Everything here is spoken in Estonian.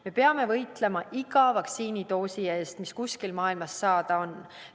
Me peame võitlema iga vaktsiinidoosi eest, mis kuskil maailmas saada on.